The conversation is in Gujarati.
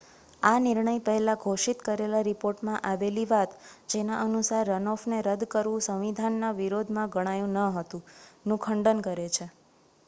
આ નિર્ણય પહેલા ઘોષિત કરેલા રિપોર્ટમાં આવેલી વાત જેના અનુસાર રન-ઑફને રદ્દ કરવુ સંવિધાનના વિરોધ માં ગણાયુ હતુ નું ખંડન કરે છે